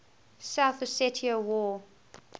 south ossetia war